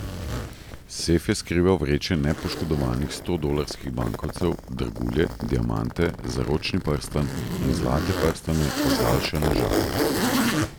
Sef je skrival vreče nepoškodovanih stodolarskih bankovcev, dragulje, diamante, zaročni prstan in zlate prstane, ozaljšane z žadom.